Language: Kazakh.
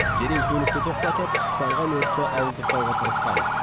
дереу көлікті тоқтатып тұтанған өртті ауыздықтауға тырысқан